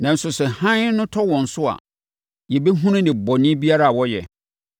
Nanso sɛ hann no tɔ wɔn so a, yɛbɛhunu nnebɔne biara a wɔyɛ.